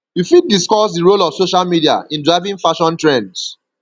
you fit discuss di role of social media in driving fashion trends